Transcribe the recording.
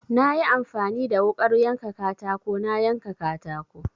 Na yi amfani da wuƙar yanka katako na yanka katako.